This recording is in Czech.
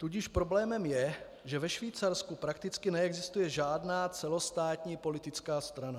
Tudíž problémem je, že ve Švýcarsku prakticky neexistuje žádná celostátní politická strana.